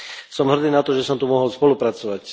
Som hrdý na to, že som tu mohol spolupracovať.